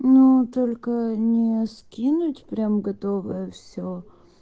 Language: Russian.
ну только не скинуть прям готовое все